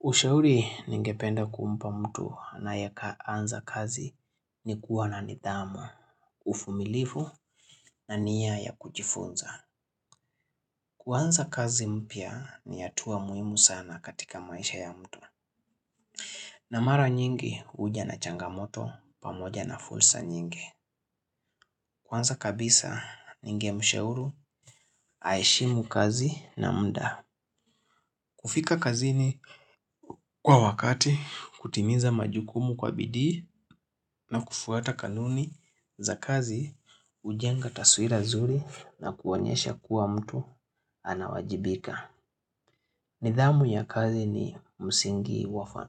Ushauri ningependa kumpa mtu anayeanza kazi ni kuwa na nidhamu, uvumilivu na nia ya kujifunza. Kuanza kazi mpya ni hatua muhimu sana katika maisha ya mtu. Na mara nyingi huja na changamoto pamoja na fursa nyingi. Kwanza kabisa ningemshauri aheshimu kazi na muda. Kufika kazini kwa wakati, kutimiza majukumu kwa bidii na kufuata kanuni za kazi hujenga taswira nzuri na kuonyesha kuwa mtu anawajibika. Nidhamu ya kazi ni msingi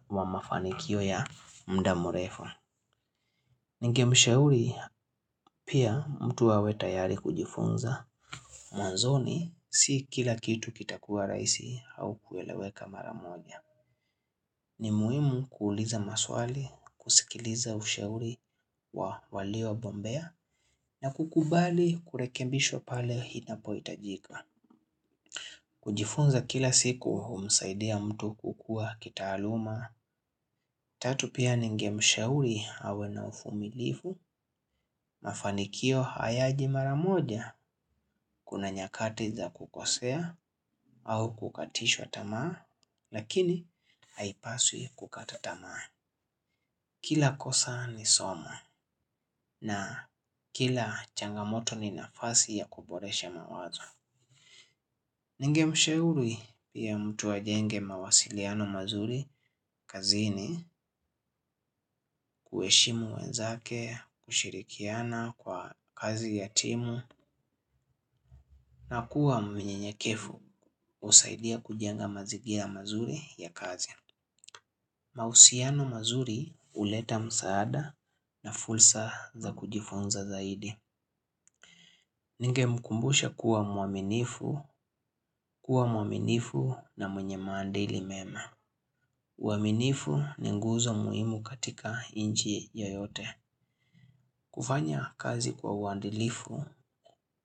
wa mafanikio ya muda mrefu. Ningemsheuri pia mtu awe tayari kujifunza. Mwanzoni si kila kitu kitakua rahisi au kueleweka mara moja. Ni muhimu kuuliza maswali, kusikiliza ushauri wa waliobombea, na kukubali kurekebishwa pale inapohitajika. Kujifunza kila siku humsaidia mtu kukua kitaaluma. Tatu pia ningemshauri awe na uvumilivu, mafanikio hayaji mara moja, kuna nyakati za kukosea au kukatishwa tamaa, lakini haipaswi kukata tamaa. Kila kosa ni somo na kila changamoto ni nafasi ya kuboresha mawazo. Ningemshauri pia mtu ajenge mawasiliano mazuri kazini kuheshimu wenzake, kushirikiana kwa kazi ya timu na kuwa mnyenyekevu husaidia kujenga mazingira mazuri ya kazi. Mahusiano mazuri huleta msaada na fursa za kujifunza zaidi. Ningemkumbusha kuwa muaminifu, kuwa muaminifu na mwenye maadili mema. Uaminifu ni nguzo muhimu katika nchi yoyote. Kufanya kazi kwa uandilifu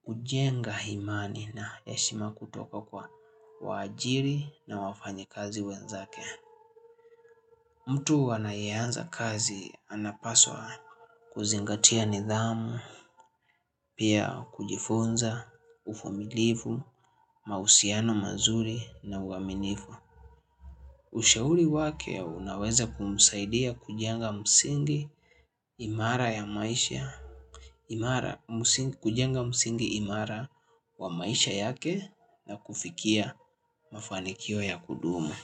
hujenga imani na heshima kutoka kwa waajiri na wafanyikazi wenzake. Mtu anayeanza kazi anapaswa kuzingatia nidhamu, pia kujifunza, uvumilivu, mahusiano mazuri na uaminifu. Ushauri wake unaweza kumsaidia kujenga msingi imara ya maisha. Kujenga msingi imara wa maisha yake na kufikia mafanikio ya kudumu.